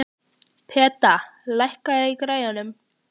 Peta, lækkaðu í græjunum.